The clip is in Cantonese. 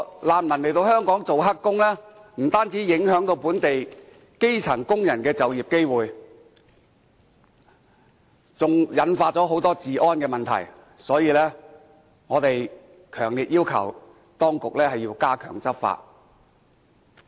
難民來香港做"黑工"，不單影響本地基層工人的就業機會，還引發很多治安問題，所以，我們強烈要求當局要加強執法。